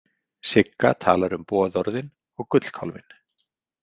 Sigga talar um boðorðin og gullkálfinn.